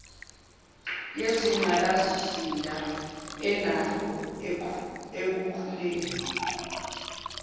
yezingqalasizinda enalo ekukhuleni